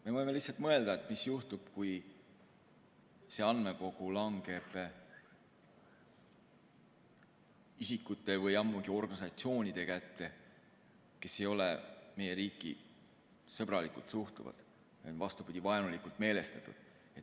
Me võime mõelda, mis juhtub, kui see andmekogu langeb isikute või ammugi organisatsioonide kätte, kes ei ole meie riiki sõbralikult suhtuvad, vaid vastupidi, on vaenulikult meelestatud.